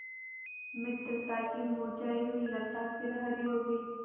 मित्रता की मुरझायी हुई लता फिर हरी हो गयी